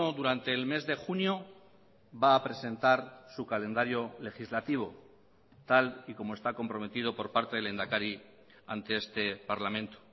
durante el mes de junio va a presentar su calendario legislativo tal y como está comprometido por parte del lehendakari ante este parlamento